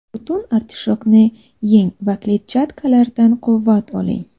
Butun artishokni yeng va kletchatkalardan quvvat oling.